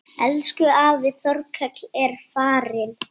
Elsku afi Þorkell er farinn.